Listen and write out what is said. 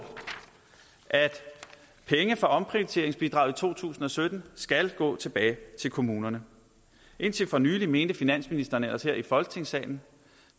at penge fra omprioriteringsbidraget i to tusind og sytten skal gå tilbage til kommunerne indtil for nylig mente finansministeren ellers her i folketingssalen